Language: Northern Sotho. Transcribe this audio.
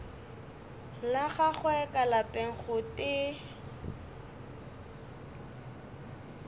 la gagwe ka lapeng gotee